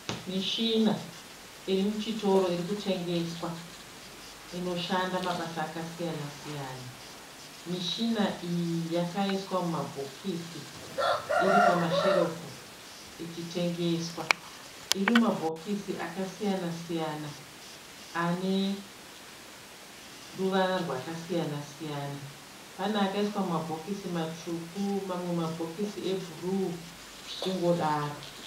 Mishina iri muchitoro iri kutengeswa inoshanda mabasa akasiyanasiyana. Mishina iyi yakaiswa mumabhokisi iri pamasherefu ichitengeswa. Iri mumabhokisi akasiyanasiyana ane ruvara rwakasiyanasiyana. Pane akaiswa mumabhokisi matsvuku mamwe mabhokisi ebhuruu zvichingodaro.